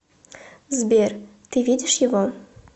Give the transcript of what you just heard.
сбер ты видишь его